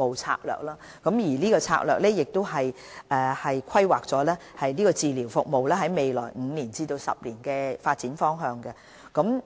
當局剛制訂《策略》，規劃紓緩治療服務在未來5至10年的發展方向，並